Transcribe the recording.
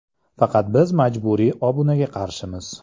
Faqat biz majburiy obunaga qarshimiz.